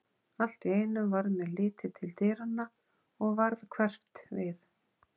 Allt í einu varð mér litið til dyranna og varð hverft við.